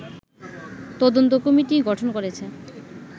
তদন্ত কমিটি গঠন করেছে